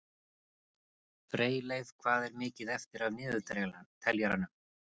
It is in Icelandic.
Freyleif, hvað er mikið eftir af niðurteljaranum?